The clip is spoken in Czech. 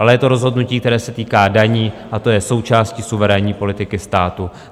Ale je to rozhodnutí, které se týká daní, a to je součástí suverénní politiky státu.